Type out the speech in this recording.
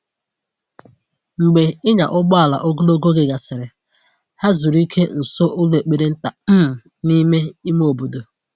Mgbe ịnya ụgbọala ogologo oge gasịrị, ha zuru ike nso ụlọ ekpere nta um n’ime ime obodo.